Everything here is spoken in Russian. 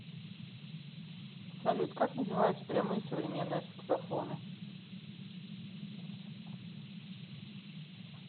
салют как называются прямые современные саксофоны